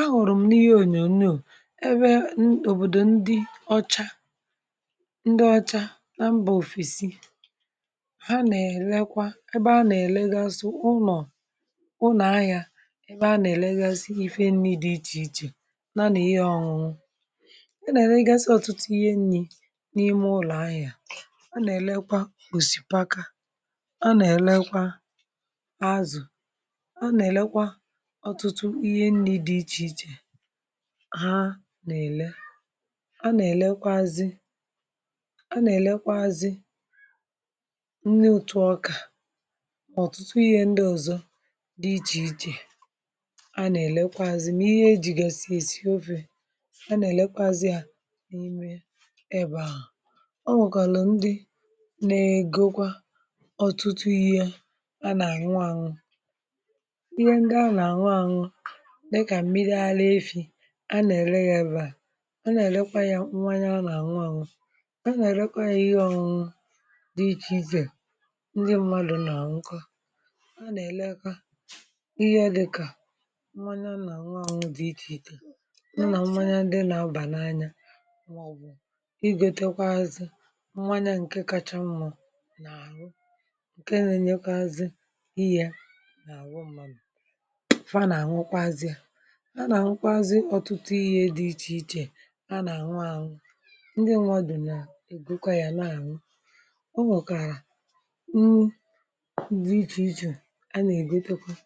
A nwụrụ m, um, n’ihe ònyònyo ebe obodo ndị ọcha ndị ọcha na mbà òfèsi ha nà-èlekwa! um Ha nà-èlegasị ụlọ̀, unù ahị̀a, ebe a nà-èlegasị ife nni dị iche iche, um, na ihe ọ̀ṅụṅụ dị mma. A nà-èlegasị ọtụtụ ihe nni̇ n’ime ụlọ̀ ahị̀a ahụ a nà-èlekwa gbosipaka, a nà-èlekwa azù! Ha nà-èlee, ha nà-èlekwazị, a nà-èlekwa nri, òtù ọkà, ọtụtụ ihe ndị ọzọ dị iche iche. Ha nà-èlekwa, um, m̀, ihe ejìgà sì esi ofe. A nà-èlekwa n’ihe ejiri esi ebeà, o nwekwara ndị nà-ègokwa ọtụtụ ihe um ha nà nwa ànụ ihe, ndị ha nà nwa ànụ, a nà-ele ya ebeà!... A nà-èlekwanyà, nwaanyị ọ nà ànwụ ànụ, ọ nà-èlekwanyà ihe ọṅụdị iche iche. Ndị mmadụ̀ nà-ànka, a nà-elekwa ihe ọ dịka nwaanyị dị iche iche, nà mmanya ndị nà-abà n’anya! Ọ gbo, igoteekwa azụ̇, nwaanyị nke kacha mmụ̀ nà-ànụ, nke n’enyékọ azụ́, iye n’ànụ, mmamụ̀ a nà-àhụkwa ọtụtụ ihe dị iche iche! A nà-àṅụ, um, àṅụ! Ndị nwà dù nà-ègokwa ya, na-àṅụ um ọ nwokàrà nni dị iche iche, a nà-ègotekwa ya.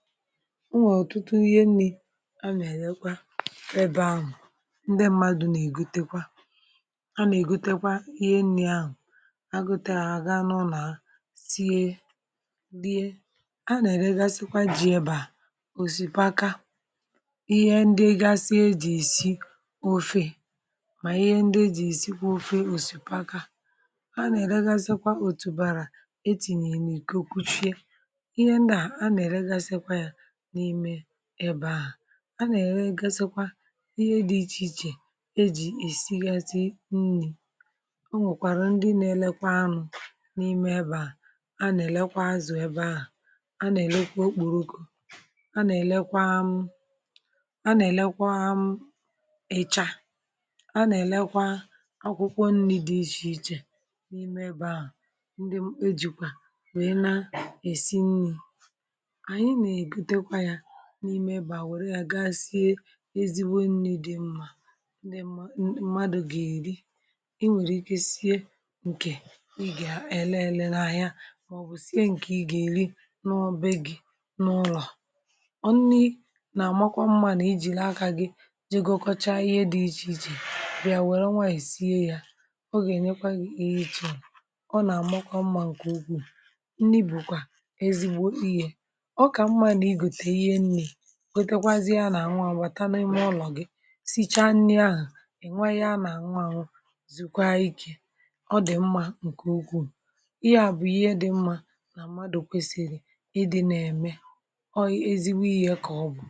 O nwe ọtụtụ ihe nni̇, a nà-èlekwa ebe ahụ̀. Ndị mmadụ̇ nà-ègotekwa, a nà-ègotekwa ihe nni̇ ahụ̀, a gute àga, nọ, na sie dịè! A nà-èlegasịkwa, um, ji um ebeà, ihe ndị gasịa ejì isi ofe, ma ihe ndị jì isi ofe òsìpaka! Ha nà-èlegasịkwa òtù bàrà, etìnyèrè ike, kwuchie ihe ndà. A nà-èlegasịkwa ya n’ime ebe ahụ̀, a nà-èregasịkwa ihe dị iche iche, ejì isi ghasị nni̇! O nwekwara ndị na-elekwa.. amụ̀, n’ime ebe ahụ̀, a nà-èlekwa okpòròko, a nà-èlekwa m ịcha, um, a nà-èlekwa akwụkwọ nni dị iche iche n’ime ebe ahụ̀! Ndị ò jikwa na-esi nni̇, anyị nà-ègotekwa ya n’ime ebeà, wèrè ya gaa sie ezigbo nni̇ dị mma, ndị mmadụ̀ gà-èri. I nwekwara ike sie nke ị gà-ele, èle n’anya, màọbụ̀ sie nke ị gà-èri n’ọbe gị̇ n’ụlọ̀! Jegọkọcha ihe dị iche iche, bịà wèrè nwa à, sie ya, um, ọ gà-ènyekwa gị ihe iche! Ọ nà-àma mmȧ, nke ukwuù um nni bụkwa ezigbo ihe. Ọ kà mmȧ, n’ịgote ihe nni̇, kwetekwa ha nà-ànwà! Nwata n’ime ụlọ gị, sichaa nni̇ ahụ̀, ènwayịa nà-ànwà, nwụ zùkwa ike! Ọ dị mmȧ,.. nke ukwuù! Ị ga-abụ ihe dị mmȧ, um, nà mmadụ kwesìrì ime otú ahụ̀ ọ bụ ezigbo ihe, kà ọ bụ!